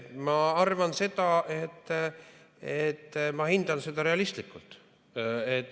Ma arvan, et ma hindan seda realistlikult.